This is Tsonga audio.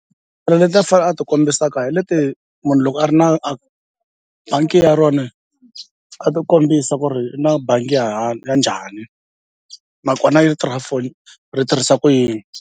leti a fanele a ti kombisaka hi leti munhu loko a ri na a bangi ya rona a ti kombisa ku ri i na bangi ya ya njhani nakona yi for ri tirhisa ku yini.